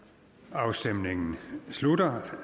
afstemningen slutter